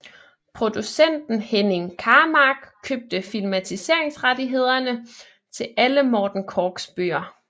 Producenten Henning Karmark købte filmatiseringsrettighederne til alle Morten Korchs bøger